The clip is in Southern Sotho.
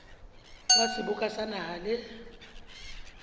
wa seboka sa naha le